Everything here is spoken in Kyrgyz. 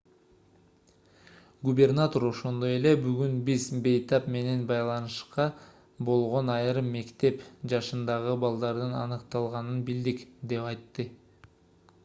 губернатор ошондой эле бүгүн биз бейтап менен байланышта болгон айрым мектеп жашындагы балдардын аныкталганын билдик деп айтты